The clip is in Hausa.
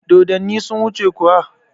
Dodonni sun wuce kuwa?